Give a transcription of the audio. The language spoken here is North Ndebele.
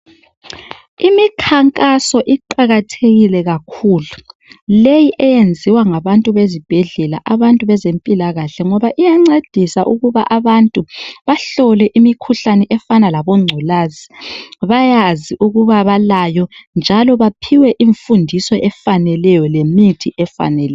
Imikhankaso iqakathekile kakhulu. Leyi eyenziwa ngabantu bezibhedlela abantu bezempilakahle ngoba iyancedisa ukuba abantu bahlole imikhuhlane efana labongculaza bayazi ukuba balayo njalo baphiwe imfundiso efaneleyo lemithi efaneleyo.